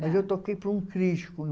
mas eu toquei para um